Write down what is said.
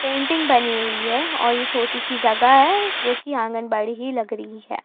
Painting बनी हुई है और यह छोटी सी जगह है जो कि आंगन बाड़ी ही लग रही है।